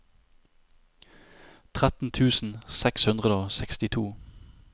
tretten tusen seks hundre og sekstito